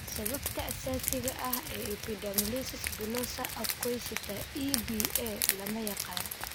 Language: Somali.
Sababta asaasiga ah ee epidermolysis bullosa acquisita (EBA) lama yaqaan.